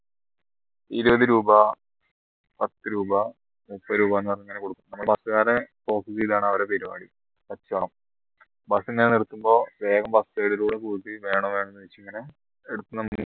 ഇരുപത് രൂപ പത്തു രൂപ മുപ്പത് രൂപ എന്ന് പറഞ്ഞ് ഇങ്ങനെ കൊടുക്കും നമ്മള് bus കാര focus ചെയ്താണ് അവരെ പരിപാടി കച്ചവടം bus ഇങ്ങനെ നിർത്തുമ്പോ വേഗം വേണോ വേണ്ടേ എന്നിങ്ങനെ ചോദിച്